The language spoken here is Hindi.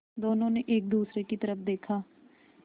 दोनों ने एक दूसरे की तरफ़ देखा